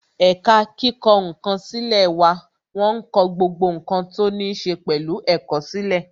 Ẹ̀ka kíkọ ǹkan sílè wà wọn ń kọ gbogbo ǹkan tó ní ṣe pẹ̀lú ẹ̀kọ́ sílè